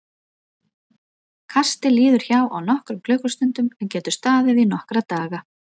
Kastið liður hjá á nokkrum klukkustundum en getur staðið í nokkra daga.